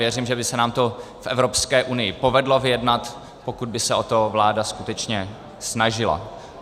Věřím, že by se nám to v Evropské unii povedlo vyjednat, pokud by se o to vláda skutečně snažila.